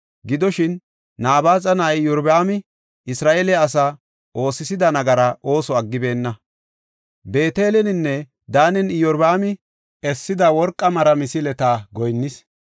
Gidoshin, Nabaaxa na7ay Iyorbaami Isra7eele asaa oosisida nagara ooso aggibeenna. Beeteleninne Daanen Iyorbaami essida worqa mara misileta goyinnis.